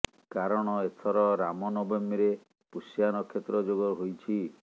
କାରଣ ଏଥର ରାମ ନବମୀରେ ପୁଷ୍ୟା ନକ୍ଷତ୍ର ଯୋଗ ହୋଇଛି